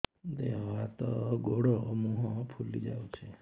ଦେହ ହାତ ଗୋଡୋ ମୁହଁ ଫୁଲି ଯାଉଛି